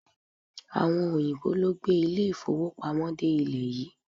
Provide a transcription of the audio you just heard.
Àwọn òyìnbó ló gbé ilé-ìfówopamọ́ dé ilẹ̀ yìí.